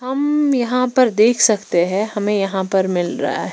हम्म यहां पर देख सकते हैं हमें यहां पर मिल रहा है।